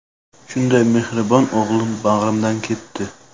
Shunday mehribon o‘g‘lim bag‘rimdan ketdi.